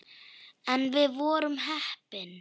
En við vorum heppin.